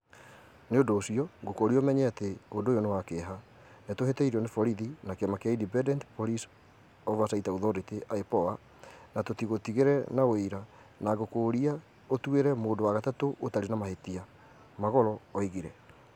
"Nĩ ũndũ ũcio ngũkũũria ũmenye atĩ ũndũ ũyũ nĩ wa kĩeha, nĩ tũhĩtĩirio nĩ borithi na kĩama kĩa ĩndependent Police Oversight Authority ĩPOA na tũtigũtigire na ũira na ngũkũũria ũtuĩre mũndũ wa gatatũ ũtarĩ na mahĩtia", Magolo oigire.